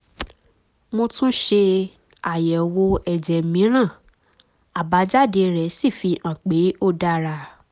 mo tún ṣe àyẹ̀wò ẹ̀jẹ̀ mìíràn àbájáde rẹ̀ sì fi hàn pé ó dára